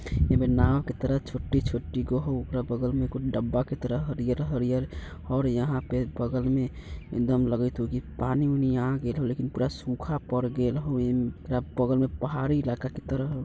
एमे नाव के तरह छोटी-छोटी गो हउ । ओकरा बगल में कुछ डब्बा के तरह हरियर-हरियर और यहाँ पे बगल में एकदम लगित हउ के पानी-वानी आं गिरल हउ लेकिन पूरा सूखा पड़ गेल हउए ओकरा बगल में पहाड़ी इलाका की तरह हउ ।